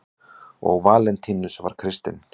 og valentínus var kristinn